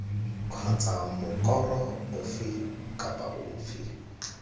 kgotsa mokoro ofe kapa ofe